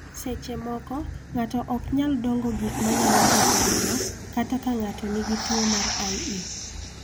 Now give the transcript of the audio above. Seche moko, ng�ato ok nyal dongo gik ma nyalo ketho remo, kata ka ng�ato nigi tuo mar IE.